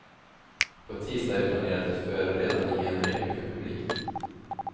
På tisdag har vi planerat ett förberedande genrep inför publik.